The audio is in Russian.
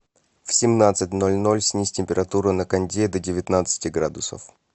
в семнадцать ноль ноль снизь температуру на кондее до девятнадцати градусов